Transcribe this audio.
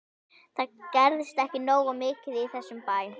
Það gerist ekki nógu mikið í þessum bæ.